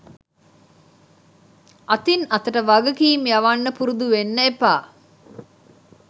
අතින් අතට වගකීම් යවන්න පුරුදු වෙන්න එපා